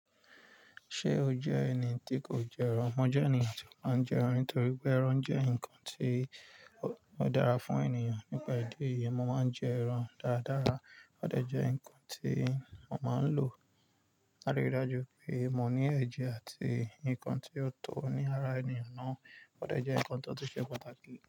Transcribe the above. Ṣé o jẹ́ ẹni tí kò jẹ ẹran? Mo jẹ́ ẹni tí máa ń jẹ ẹran nítorí pé ẹran jẹ́ ǹkan tí ó dára fún ènìyàn. Nípa ìdí èyí, mo máa ń jẹ ẹran dáradára. Ó dẹ jẹ ǹkan tí mo máa ń lò láti rí i dájú pé mọ ní ẹ̀jẹ̀ àti ǹkan tí ó tó ní ara ènìyàn náà. Ó dẹ jẹ ǹkan tó tu ṣe pàtàkì.